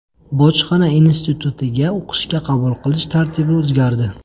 Bojxona institutiga o‘qishga qabul qilish tartibi o‘zgardi.